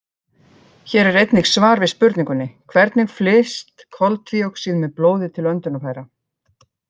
Hér er einnig svar við spurningunni: Hvernig flyst koltvíoxíð með blóði til öndunarfæra?